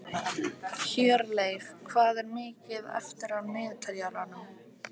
Hjörleif, hvað er mikið eftir af niðurteljaranum?